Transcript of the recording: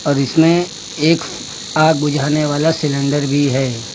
और इसमें एक आग बुझाने वाला सिलेंडर भी है।